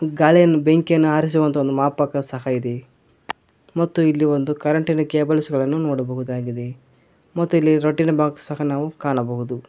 ಗಾಳಿಯನ್ನು ಬೆಂಕಿಯನ್ನು ಆರಿಸುವ ಒಂದು ಮಾಪಕ ಸಹ ಇದೆ ಮತ್ತು ಇಲ್ಲಿ ಒಂದು ಕರೆಂಟಿ ನ ಕೇಬಲ್ಸ್ ಗಳನ್ನೂ ನೋಡಬಹುದಾಗಿದೆ ಮತ್ತು ಇಲ್ಲಿ ರಟ್ಟಿನ ಬಾಕ್ಸ್ ಸಹ ನಾವು ಕಾಣಬಹುದು.